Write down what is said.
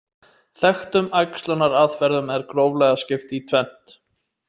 Þekktum æxlunaraðferðum er gróflega skipt í tvennt.